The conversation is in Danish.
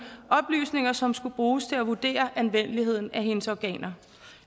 og som skulle bruges til at vurdere anvendeligheden af hendes organer